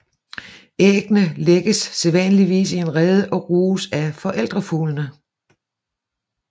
Æggene lægges sædvanligvis i en rede og ruges af forældrefuglene